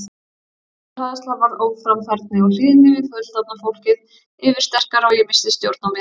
Ofsahræðsla varð óframfærni og hlýðni við fullorðna fólkið yfirsterkari og ég missti stjórn á mér.